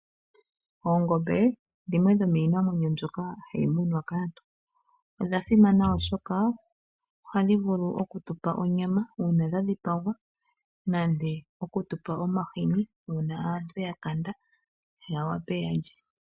Oongombe dhimwe miinima mbyoka hai munwa kaantu . Odha simana oshoka oha dhivulu oku tupa onyama uuna dhadhi pagwa nande oku tupa omahini uuna aantu yakanda yawape yalye.